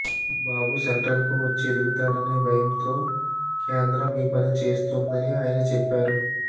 బాబు సెంట్రల్కు వచ్చి ఎదుగుతాడనే భయంతో కేంద్రం ఈ పని చేస్తోందని ఆయన చెప్పారు